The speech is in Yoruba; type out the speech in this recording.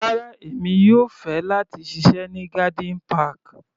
Rárá, èmi yóò fẹ́ láti ṣiṣẹ́ ní garden park.